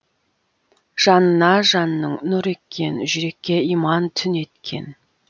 жанына жанның нұр еккен жүрекке иман түнеткен